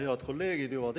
Head kolleegid!